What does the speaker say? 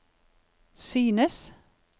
synes